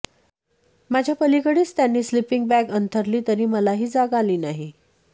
माझ्या पलिकडेच त्यांनी स्लिपिंग बॅग अंथरली तरी मलाही जाग आली नाही